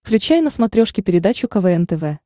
включай на смотрешке передачу квн тв